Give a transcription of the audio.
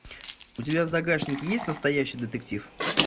у тебя в загашнике есть настоящий детектив